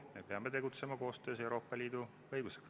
Me peame tegutsema kooskõlas Euroopa Liidu õigusega.